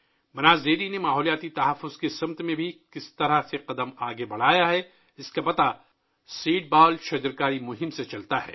بناس dairy نے بھی ماحولیاتی تحفظ کی سمت میں کس طرح ایک قدم آگے بڑھایا ہے ، یہ سیڈ بال ٹری پلانٹیشن مہم سے ظاہر ہوتا ہے